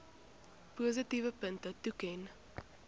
positiewe punte toeken